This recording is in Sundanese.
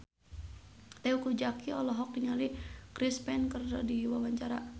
Teuku Zacky olohok ningali Chris Pane keur diwawancara